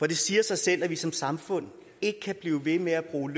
det siger sig selv at vi som samfund ikke kan blive ved med at bruge